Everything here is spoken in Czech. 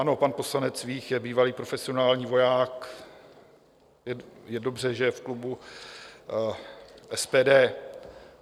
Ano, pan poslanec Vích je bývalý profesionální voják, je dobře, že je v klubu SPD.